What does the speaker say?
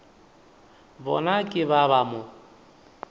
bona ke ba ba mo